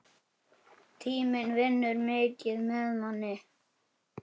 Tíminn vinnur mikið með manni.